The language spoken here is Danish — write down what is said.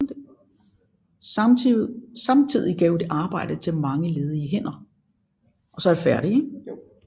Samtidig gav det arbejde til mange ledige hænder